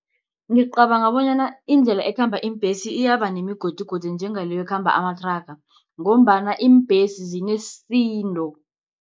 Ngicabanga bonyana indlela ekhamba iimbesi iyaba nemigodigodi, njengaleyo ekhamba amathraga, ngombana iimbhesi zinesisindo.